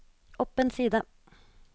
opp en side